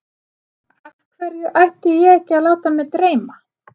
Af hverju ætti ég ekki að láta mig dreyma?